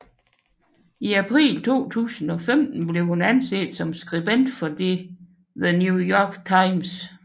I april 2015 blev hun ansat som skribent for The New York Times